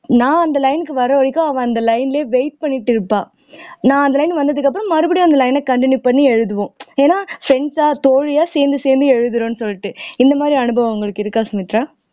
நான் அந்த line க்கு வர வரைக்கும் அவள் அந்த line லயே wait பண்ணிட்டு இருப்பா நான் அந்த line வந்ததுக்கப்புறம் மறுபடியும் அந்த line அ continue பண்ணி எழுதுவோம் ஏன்னா friends ஆ தோழியா சேர்ந்து சேர்ந்து எழுதுறோம்ன்னு சொல்லிட்டு இந்த மாதிரி அனுபவம் உங்களுக்கு இருக்கா சுமித்ரா